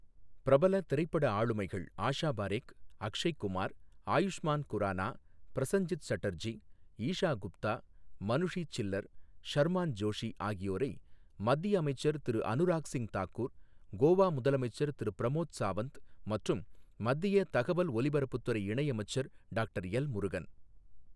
பிரபல திரைப்பட ஆளுமைகள் ஆஷா பாரேக், அக்ஷய் குமார், ஆயுஷ்மான் குரானா, பிரசஞ்சித் சட்டர்ஜி, ஈஷா குப்தா, மனுஷி சில்லர், ஷர்மான் ஜோஷி ஆகியோரை மத்திய அமைச்சர் திரு அனுராக் சிங் தாக்கூர், கோவா முதலமைச்சர் திரு பிரமோத் சாவந்த் மற்றும் மத்திய தகவல் ஒலிபரப்புத் துறை இணையமைச்சர் டாக்டர் எல்.முருகன்